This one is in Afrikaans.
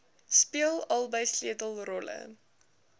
speel albei sleutelrolle